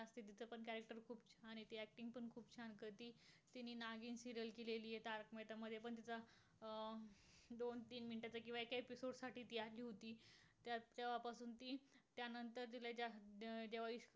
तिने नागीण serial केलेली आहे. तारक मेहता मध्ये पण तिचा अं दोन तीन मिनिटचा किंवा एका episode साठी ती आली होती. त्यात तेंव्हा पासून तीला